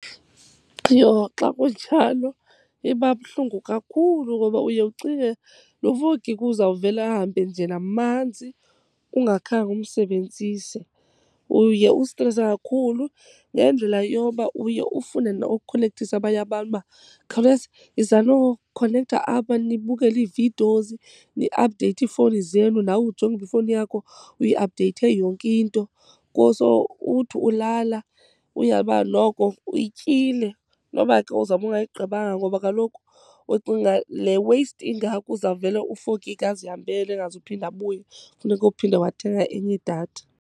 Yho xa kunjalo iba buhlungu kakhulu ngoba uye ucinge lo four gig uzawuvele ahambe nje namanzi ungakhange umsebenzise. Uye ustrese kakhulu ngendlela yoba uye ufune nokukhonekthisa abanye abantu uba, khawuleza yizanokhonektha apha nibukele ii-videos, niaphudeyithe iifowuni zenu. Nawe ujonge uba ifowuni yakho uyiaphudeyithe yonke into . Uthi ulala uyazi uba noko uyityile noba ke uzawube ungayigqibanga. Ngoba kaloku ucinga le waste ingaka uzawuvele u-four gig azihambele engazuphinda abuye, funeka uphinde wathenga enye idatha.